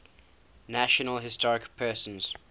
national historic persons